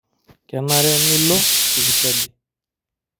Kenare nilo sipitali.